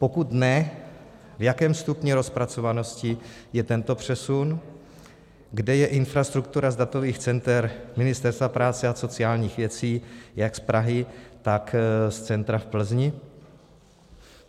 Pokud ne, v jakém stupni rozpracovanosti je tento přesun, kde je infrastruktura z datových center Ministerstva práce a sociálních věcí jak z Prahy, tak z centra v Plzni?